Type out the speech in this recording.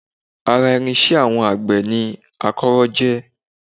Ara irinṣẹ́ àwọn àgbẹ̀ ni akọ́rọ́ jẹ́